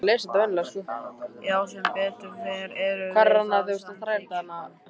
Já sem betur fer erum við það, samþykkir hann.